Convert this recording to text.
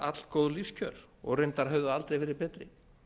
allgóð lífskjör og reyndar höfðu aldrei verið betri